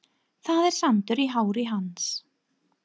Það er sandur í hári hans.